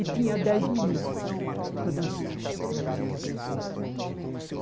E tinha dez meninas para dançar.